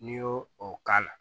N'i y'o o k'a la